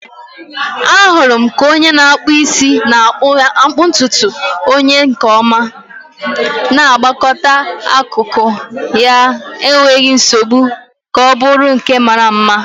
Ahụrụ m ka onye na-akpụ isi na-akpụ ntutu onye ahịa nke ọma, na-agwakọta akụkụ ya n'enweghị nsogbu ka ọ bụrụ nke mara mma.